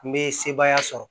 N bɛ sebaaya sɔrɔ